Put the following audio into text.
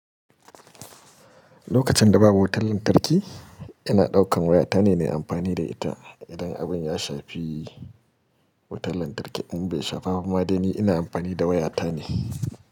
Lokacin da babu wutan lantarki, ina ɗaukan waya tane nai amfani da ita. Idan abin ya shafi wutar lantarki in bai shafa ba ma dai ni ina amfani da waya tane.